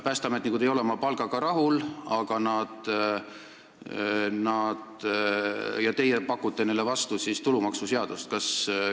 Päästeametnikud ei ole oma palgaga rahul ja teie pakute neile vastu tulumaksuseadust.